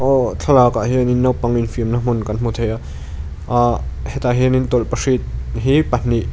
awh thlalâkah hianin naupang infiamna hmun kan hmu thei a ahh hetah hianin tawlhpahrit hi pahnih--